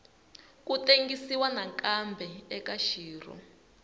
ku tengisiwa nakambe eka xirho